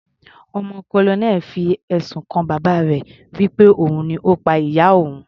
Ọmọ colonel fi ẹ̀sùn kan bàbá rẹ̀ wí pé òun ni Ó pa ìyá òun.